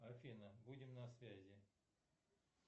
афина будем на связи